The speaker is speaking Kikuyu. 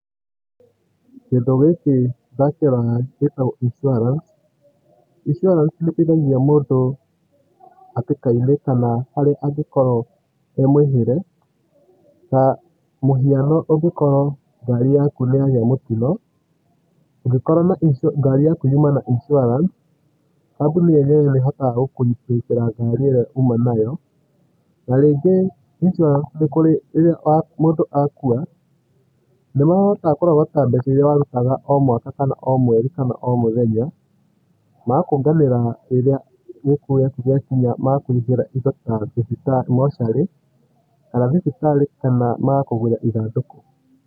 Kĩndũ gĩkĩ ndakĩrora gĩtagwo insurance. Insurance nĩĩteithagia mũndũ hatĩkainĩ kana harĩa angĩkorwo emwĩhĩre. Tamũhiana angĩkorwo ngari yaku nĩyagĩa mũtino. Angĩkorwo ngari yaku yuma na insurance, kamboni yenyewe nĩĩhotaga gũkũ replace ra ngari ĩrĩa uma nayo. Narĩngĩ insurance nĩkũrĩ rĩrĩa mũndũ akua. nĩmahotaga kũrogota mbeca iria warutaga o mwaka kana o mweri kana o mũthenya, magũkũnganĩra rĩrĩa gĩkuũ giaku gĩakinya magakũrutĩra indo ta mocarĩ kana thibitarĩ kana magakũgũrĩra ithandũkũ.